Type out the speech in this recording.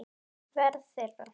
Verða þeirra.